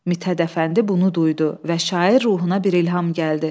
Mithət Əfəndi bunu duydu və şair ruhuna bir ilham gəldi.